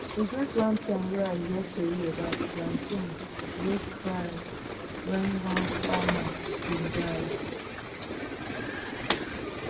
e get one time wey i hear tori about plantain wey cried wen one farmer been die